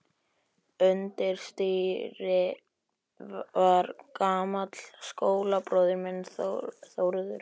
Undir stýri var gamall skólabróðir minn, Þórður Jónsson.